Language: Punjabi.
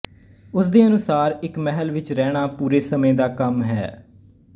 ਉਸ ਦੇ ਅਨੁਸਾਰ ਇੱਕ ਮਹਿਲ ਵਿੱਚ ਰਹਿਣਾ ਪੂਰੇ ਸਮੇਂ ਦਾ ਕੰਮ ਹੈ